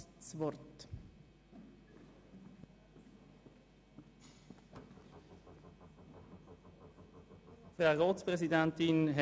Die Behörden unterhalten Beziehungen mit den religiösen Gemeinschaften.